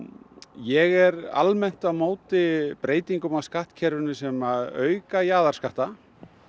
ég er almennt á móti breytingum á skattkerfinu sem auka jaðarskatta